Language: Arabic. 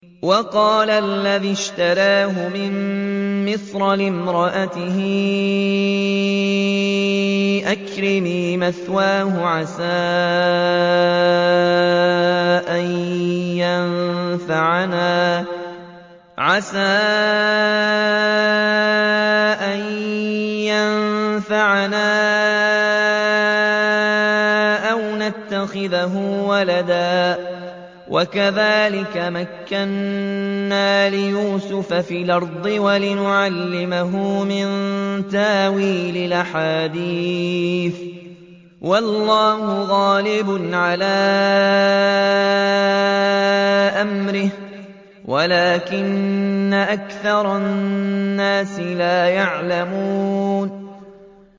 وَقَالَ الَّذِي اشْتَرَاهُ مِن مِّصْرَ لِامْرَأَتِهِ أَكْرِمِي مَثْوَاهُ عَسَىٰ أَن يَنفَعَنَا أَوْ نَتَّخِذَهُ وَلَدًا ۚ وَكَذَٰلِكَ مَكَّنَّا لِيُوسُفَ فِي الْأَرْضِ وَلِنُعَلِّمَهُ مِن تَأْوِيلِ الْأَحَادِيثِ ۚ وَاللَّهُ غَالِبٌ عَلَىٰ أَمْرِهِ وَلَٰكِنَّ أَكْثَرَ النَّاسِ لَا يَعْلَمُونَ